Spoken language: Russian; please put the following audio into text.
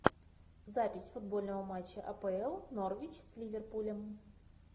запись футбольного матча апл норвич с ливерпулем